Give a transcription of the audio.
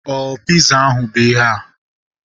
Ọ piza ahu bụ ihea?